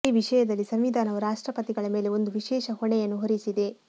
ಈ ವಿಷಯದಲ್ಲಿ ಸಂವಿಧಾನವು ರಾಷ್ಟ್ರಪತಿಗಳ ಮೇಲೆ ಒಂದು ವಿಶೇಷ ಹೊಣೆಯನ್ನು ಹೊರಿಸಿದೆ